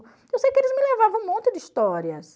Eu sei que eles me levavam um monte de histórias.